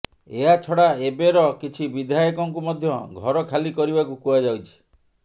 ଏହାଛଡ଼ା ଏବେର କିଛି ବିଧାୟକଙ୍କୁ ମଧ୍ୟ ଘର ଖାଲି କରିବାକୁ କୁହାଯାଇଛି